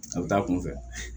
A bɛ taa a kunfɛ